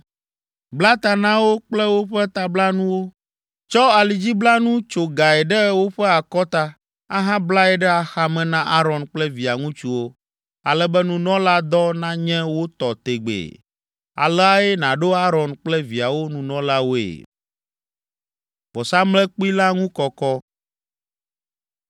Bla ta na wo kple woƒe tablanuwo, tsɔ alidziblanu tso gae ɖe woƒe akɔta, ahablae ɖe axame na Aron kple via ŋutsuwo, ale be nunɔladɔ nanye wo tɔ tegbee. Aleae nàɖo Aron kple viawo nunɔlawoe.